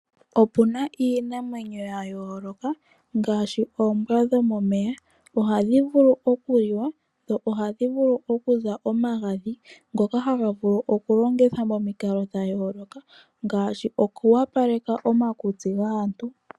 Opuna iinamwenyo yayooloka ngaashi, oombwa dhomomeya, ohadhi vulu okuliwa dho ohadhi vulu okuza omagadhi ngoka hagavulu okulongithwa momikalo dhayooloka, ngaashi okuwapaleka omakutsi gaantu.